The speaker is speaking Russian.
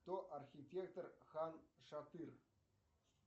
кто архитектор хан шатыр